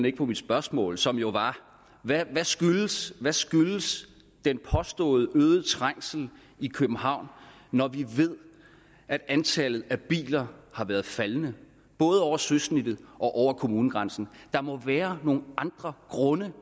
ikke på mit spørgsmål som jo var hvad skyldes skyldes den påståede øgede trængsel i københavn når vi ved at antallet af biler har været faldende både over søsnittet og over kommunegrænsen der må være nogle andre grunde